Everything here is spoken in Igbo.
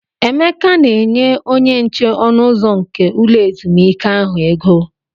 Emeka na-enye onyenche ọnụ ụzọ nke ulọ ezumike ahụ ego.